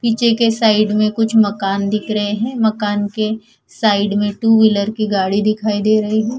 पीछे के साइड में कुछ मकान दिख रहे हैं मकान के साइड में टू व्हीलर की गाड़ी दिखाई दे रही है।